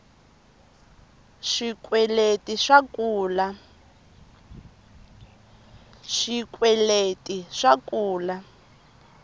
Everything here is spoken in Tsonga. swikweleti swa kula